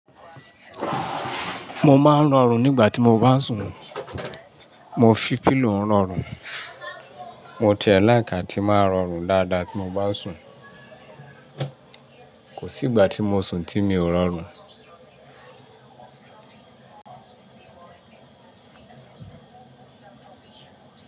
Mo máa ń rọrùn nígbà tí mo bá ń sùn. Mo fi pílò rọrùn, mo tiẹ́ ẹ́ láì á tí máa rọrùn dáadáa tí mo bá sùn. Kò sí ìgbà tí mo sùn tí mi ò rọrùn.